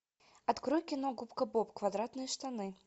открой кино губка боб квадратные штаны